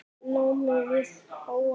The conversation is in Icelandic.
námi við HA.